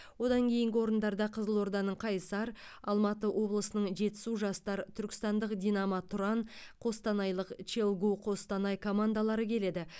одан кейінгі орындарда қызылорданың қайсар алматы облысының жетісу жастар түркістандық динамо тұран қостанайлық челгу қостанай командалары келеді